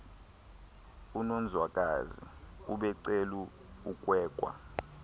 unonzwakazi ubecula ekwekwa